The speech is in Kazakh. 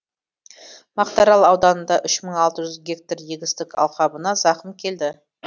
мақтаарал ауданында үш мың алты жүз гектар егістік алқабына зақым келді